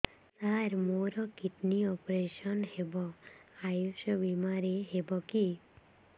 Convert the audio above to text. ସାର ମୋର kidney operation ହେବ ଆୟୁଷ ବିମାରେ ହେବ କି